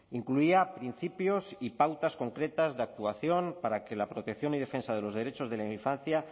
incluía principios y pautas concretas de actuación para que la protección y defensa de los derechos de la infancia